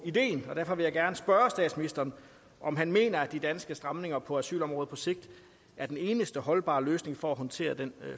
ideen og derfor vil jeg gerne spørge statsministeren om han mener at de danske stramninger på asylområdet på sigt er den eneste holdbare løsning for at håndtere den